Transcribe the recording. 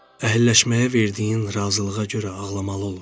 Əhəlləşməyə verdiyin razılığa görə ağlamalı olursan.